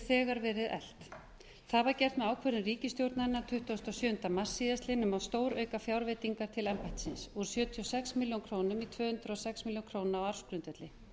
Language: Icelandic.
þegar verið eflt það var gert með ákvörðun ríkisstjórnarinnar tuttugasta og sjöunda mars síðastliðinn um að stórauka fjárveitingar til embættisins úr sjötíu og sex milljónir króna í tvö hundruð og sex milljónir króna á ársgrundvelli